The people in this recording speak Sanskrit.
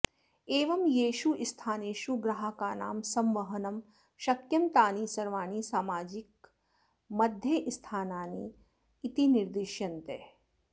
एवं येषु स्थानेषु ग्राहकानां संवहनं शक्यं तानि सर्वाणि सामाजिकमाध्यमस्थानानि इति निर्दिश्यन्ते